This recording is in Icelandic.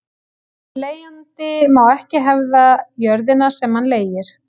Leigjandi má ekki hefða jörðina sem hann leigir.